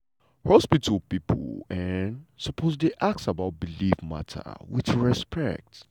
hospital pipo um suppose dey ask about belief matters with respect.